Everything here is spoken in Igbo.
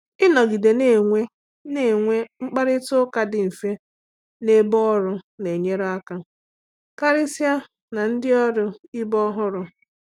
Ịnọgide na-enwe na-enwe mkparịta ụka dị mfe n’ebe ọrụ na-enyere aka, karịsịa na ndị ọrụ ibe ọhụrụ.